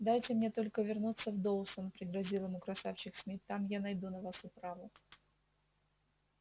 дайте мне только вернуться в доусон пригрозил ему красавчик смит там я найду на вас управу